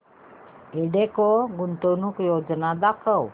एल्डेको गुंतवणूक योजना दाखव